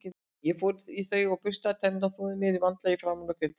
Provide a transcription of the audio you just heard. Ég fór í þau og burstaði tennurnar, þvoði mér vandlega í framan og greiddi mér.